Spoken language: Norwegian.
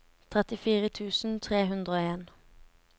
trettifire tusen tre hundre og en